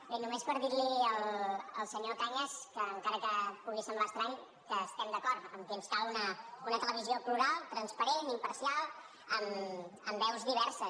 bé només per dir li al senyor cañas que encara que pugui semblar estrany estem d’acord que ens cal una televisió plural transparent imparcial amb veus diverses